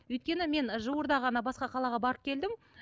өйткені мен жуырда ғана басқа қалаға барып келдім